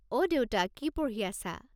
অ' দেউতা কি পঢ়ি আছা?